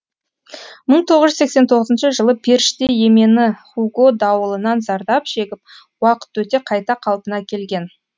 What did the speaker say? мың тоғыз жүз сексен тоғызыншы жылы періште емені хуго дауылынан зардап шегіп уақыт өте қайта қалпына келген